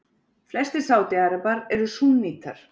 Flestir Sádi-Arabar eru súnnítar.